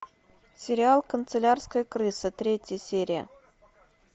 сериал канцелярская крыса третья серия